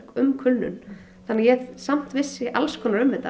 um kulnun þannig að ég samt vissi alls konar um þetta